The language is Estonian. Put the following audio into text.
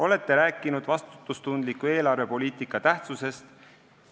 Olete rääkinud vastutustundliku eelarvepoliitika tähtsusest.